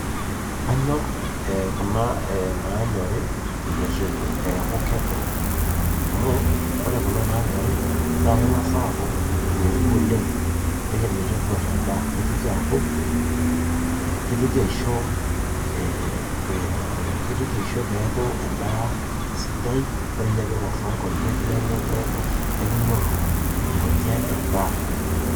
Kanyorr eee kuna naanyori neitu eeku kedo. Amu ore kuna naanyori naa kengas aaku nedua oleng, meitaduar endaa. Neitoki aaku keutoki aisho eeeh keitoki aisho pee eaku endaa sidai, too nkonyek neanene ekinyoru nkonyek endaa